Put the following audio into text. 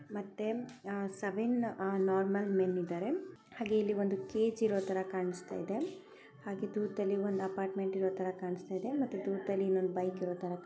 ಮತ್ತೆ ಅ-- seven normal men ಇದಾರೆ ಅಲ್ಲಿ ಒಂದು ಕೆ ಜೀರೋ ಅಂತಹ ಕಾಣಸ್ತಾ ಇದೆ ಹಾಗೆ ದೂರದಲ್ಲಿ ಒಂದು ಅಪಾರ್ಟ್ಮೆಂಟ್ ಕಣಸ್ತ ಇದೆ ಮತ್ತೆ ದೊರದಲ್ಲಿ ಒಂದು ಬೈಕ್ ಇರೋತರ.